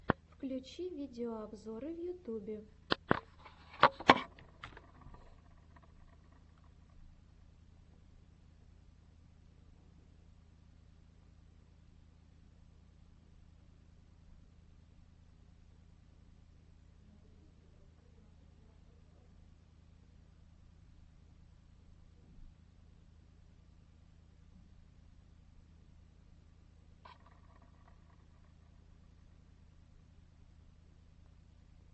включи видеообзоры в ютубе